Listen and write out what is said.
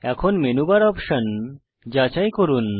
এখন menu bar option যাচাই করুন